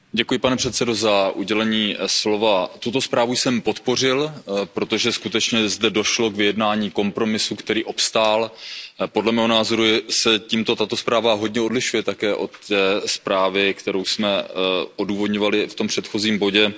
Pane předsedající, tuto zprávu jsem podpořil, protože skutečně zde došlo k vyjednání kompromisu, který obstál. Podle mého názoru se tímto tato zpráva hodně odlišuje také od zprávy, kterou jsme odůvodňovali v tom předchozím bodě.